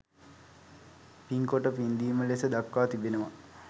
පින්කොට පින්දීම ලෙස දක්වා තිබෙනවා.